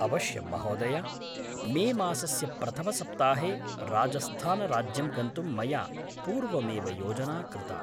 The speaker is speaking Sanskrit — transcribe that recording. अवश्यं, महोदय। मेमासस्य प्रथमसप्ताहे राजस्थानराज्यं गन्तुं मया पूर्वमेव योजना कृता।